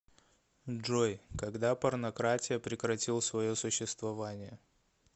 джой когда порнократия прекратил свое существование